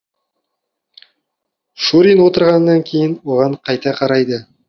шурин отырғаннан кейін оған қайта қарайды